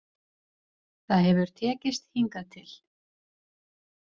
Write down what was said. Það hefur tekist hingað til.